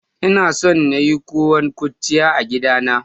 Ina son na yi kowon kurciya a gidana.